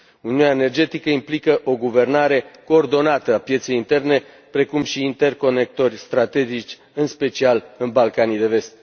Lumea energetică implică o guvernare coordonată a pieței interne precum și interconectori strategici în special în Balcanii de Vest.